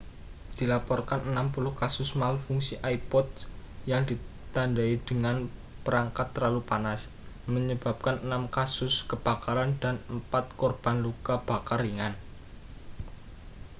dilaporkan 60 kasus malfungsi ipods yang ditandai dengan perangkat terlalu panas menyebabkan enam kasus kebakaran dan empat korban luka bakar ringan